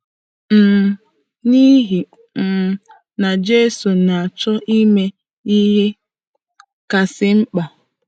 um N’ihi um na Jizọs na-achọ ime ihe kasị mkpa.